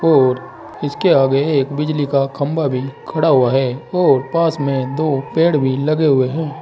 और इसके आगे एक बिजली का खंभा भी खड़ा हुआ है और पास में दो पेड़ भी लगे हुए हैं।